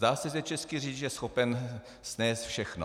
Zdá se, že český řidič je schopen snést všechno.